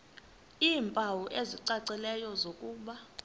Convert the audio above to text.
iimpawu ezicacileyo zokuba